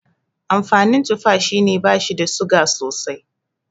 Amfanin tufa shine bashi da suga sosai